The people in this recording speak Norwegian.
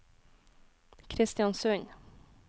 Kristiansund